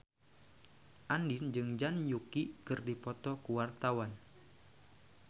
Andien jeung Zhang Yuqi keur dipoto ku wartawan